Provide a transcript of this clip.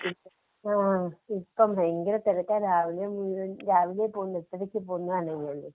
ആഹ് ഇപ്പം ഭയങ്കര തിരക്കാ രാവിലെ മുഴുവൻ. രാവിലെ പോണ്ടേ എട്ടരയ്ക്ക് പോകുന്നതാണേ ഞാന്‍